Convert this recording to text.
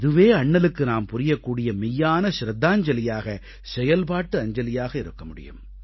இதுவே அண்ணலுக்கு நாம் புரியக்கூடிய மெய்யான ச்ரத்தாஞ்சலியாக செயல்பாட்டு அஞ்சலியாக இருக்க முடியும்